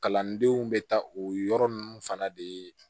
Kalandenw bɛ taa o yɔrɔ ninnu fana de ye